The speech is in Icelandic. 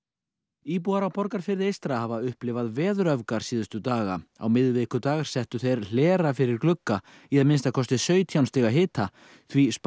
íbúar á Borgarfirði eystra hafa upplifað síðustu daga á miðvikudag settu þeir hlera fyrir glugga í að minnsta kosti sautján stiga hita því spáð